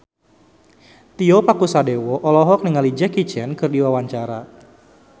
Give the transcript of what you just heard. Tio Pakusadewo olohok ningali Jackie Chan keur diwawancara